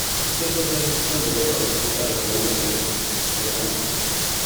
Ku tabbatar nan da wata uku kun ƙarasa wannan aikin don Allah